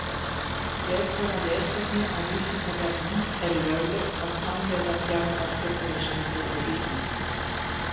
Frekara lesefni á Vísindavefnum Er löglegt að framleiða djarfar fullorðinsmyndir á Íslandi?